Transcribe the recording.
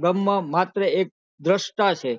બ્રહ્મ માત્ર એક દ્રષ્ટ છે